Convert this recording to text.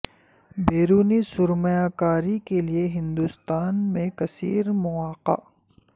بیرونی سرمایہ کاری کے لیے ہندوستان میں کثیر مواقع